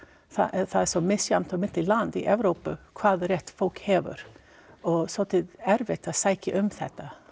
það er svo misjafnt á milli landa í Evrópu hvaða rétt fólk hefur og svolítið erfitt að sækja um þetta